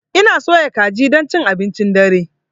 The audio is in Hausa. Ina soya kaji don cin abincin dare.